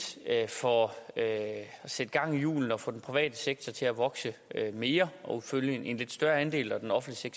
for at sætte gang i hjulene og få den private sektor til at vokse mere og fylde en lidt større andel og den offentlige